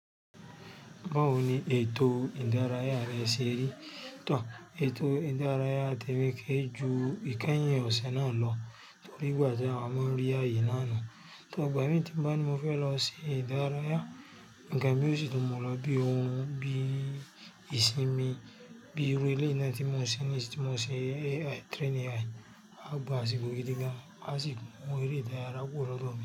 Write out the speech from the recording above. Báwo ni ètò ìdárayá rẹ ṣe rí? Tọ̀, ètò ìdárayá ti wúkẹ́ ju ìkẹ́yìn ọ̀sẹ̀ náà lọ torí ìgbà tí àwa máa ń rí ààyè náà nu. Tọ̀ ọ̀gbà mí tí bá ni mo fẹ́ lọ ṣe ìdárayá, ga mi ó sì dùn mọ́ lọ bí òórùn, bí ìsinmi, bí eré ilé náà tí mo ń ṣe ní èsì tí mo ń ṣe train AI. A gbá asìko gidigan. A sì mu ere ìdárayá kúrò lódomi.